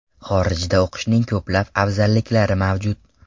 Xorijda o‘qishning ko‘plab afzalliklari mavjud.